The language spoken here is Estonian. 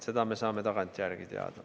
Seda me saame tagantjärele teada.